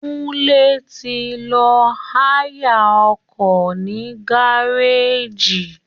Kúnlé ti lọ háyà ọkọ̀ ní gárèjì